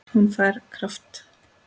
Hún fær kraft.